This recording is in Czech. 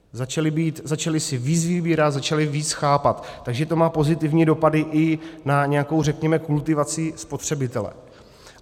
Začali si víc vybírat, začali víc chápat, takže to má pozitivní dopady i na nějakou, řekněme, kultivaci spotřebitele.